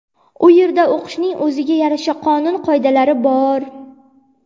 U yerda o‘qishning o‘ziga yarasha-qonun qoidalari bor.